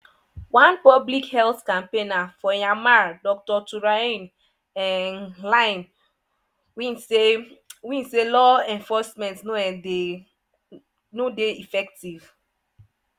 one public health campaigner for myanmar dr thurein um hlaing win say: win say: "law enforcement no um dey effective."